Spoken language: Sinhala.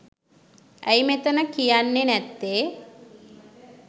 ඇයි මෙතන කියන්නෙ නැත්තෙ